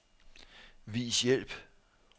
Vis hjælp.